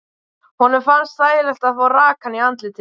Honum finnst þægilegt að fá rakann í andlitið.